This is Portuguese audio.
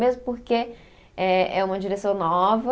Mesmo porque é é uma direção nova,